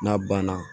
N'a banna